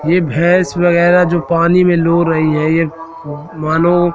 ये भैंस वगैरा जो पानी में लो रही है ये मानो--